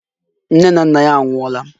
Nne na nna ya anwụọla.